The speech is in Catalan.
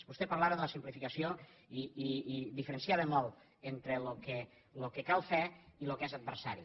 vostè parlava de la simplificació i diferenciava molt entre el que cal fer i el que és adversari